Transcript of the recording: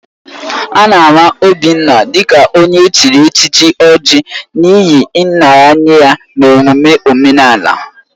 A na-ama Obinna dị ka onye echiri echichi Oji n'ihi nraranye ya n'omume omenala.